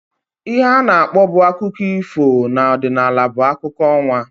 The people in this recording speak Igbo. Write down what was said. Ihe ana akpọbu akụkọ ifo na ọdịnala bụ akụkọ ọnwa